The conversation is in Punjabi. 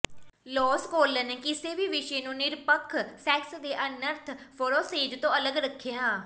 ਲੌਸ ਕਾਲਰ ਨੇ ਕਿਸੇ ਵੀ ਵਿਸ਼ੇ ਨੂੰ ਨਿਰਪੱਖ ਸੈਕਸ ਦੇ ਅਨਰਥ ਵਰੋਸੇਜ਼ ਤੋਂ ਅਲੱਗ ਰੱਖਿਆ